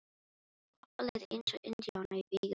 Kobba leið eins og indjána í vígahug.